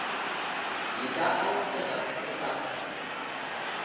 di ka alafega e ka